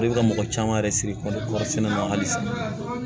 Ale bɛ ka mɔgɔ caman yɛrɛ siri kɔri sɛnɛ la hali sisan